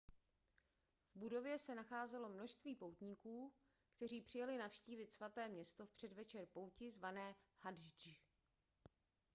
v budově se nacházelo množství poutníků kteří přijeli navštívit svaté město v předvečer pouti zvané hadždž